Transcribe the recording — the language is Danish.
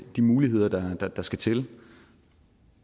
de muligheder der der skal til